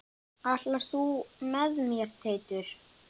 Ætlar þú með mér Teitur!